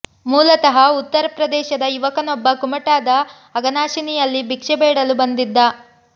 ಮೂಲತಃ ಉತ್ತರ ಪ್ರದೇಶದ ಯುವಕನೊಬ್ಬ ಕುಮಟಾದ ಅಘನಾಶಿನಿಯಲ್ಲಿ ಭಿಕ್ಷೆ ಬೇಡಲು ಬಂದಿದ್ದ